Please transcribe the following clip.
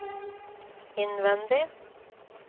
innvendig